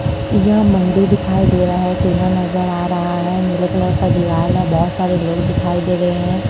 यह मुंडी दिखाई दे रहा है टीना नजर आ रहा हैं नीले कलर का दिवाल है बहोत सारे लोग दिखाई दे रहे है।